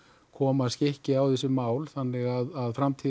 koma skikki á þessi mál þannig að framtíðin